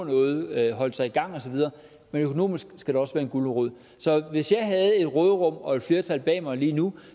noget at holde sig i gang og så videre men økonomisk skal der også være en gulerod så hvis jeg havde et råderum og et flertal bag mig lige nu